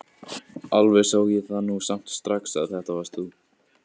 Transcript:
Alveg sá ég það nú samt strax að þetta varst þú!